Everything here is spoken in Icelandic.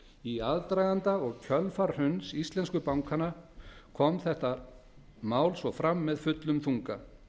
í aðdraganda og kjölfar hruns íslensku bankanna kom þetta mál svo fram með fullum þunga